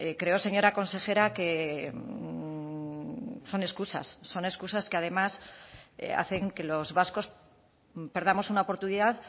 creo señora consejera que son excusas son excusas que además hacen que los vascos perdamos una oportunidad